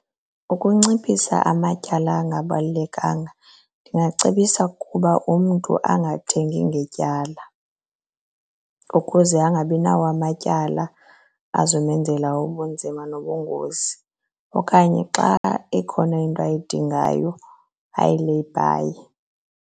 Ukunciphisa amatyala angabalulekanga ndingacebisa ukuba umntu angathengi ngetyala ukuze angabinawo amatyala azomenzela ubunzima nobungozi okanye xa ikhona into ayidingayo ayileyibhaye.